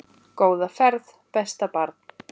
Góða ferð besta barn.